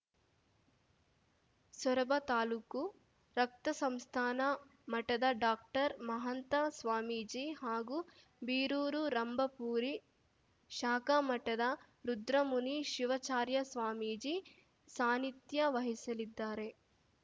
ಸೊರಬ ತಾಲೂಕು ರಕ್ತ ಸಂಸ್ಥಾನ ಮಠದ ಡಾಕ್ಟರ್ಮಹಾಂತ ಸ್ವಾಮೀಜಿ ಹಾಗೂ ಬೀರೂರು ರಂಭಾಪುರಿ ಶಾಖಾ ಮಠದ ರುದ್ರಮುನಿ ಶಿವಚಾರ್ಯ ಸ್ವಾಮೀಜಿ ಸಾನಿಧ್ಯ ವಹಿಸಲಿದ್ದಾರೆ